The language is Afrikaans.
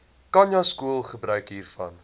khanyaskole gebruik hiervan